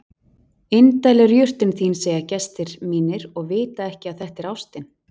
Indæl er jurtin þín segja gestir mínir og vita ekki að þetta er ástin.